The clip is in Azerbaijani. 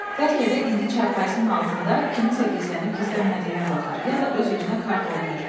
Bəlkə də indi çarpayının altında kimsə gizlənib, gizlənmədiyinə baxır, ya da öz-özünə kart oynayır.